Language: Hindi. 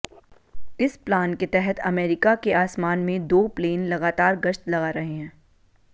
इस प्लान के तहत अमेरिका के आसमान में दो प्लेन लगातार गश्त लगा रहे हैं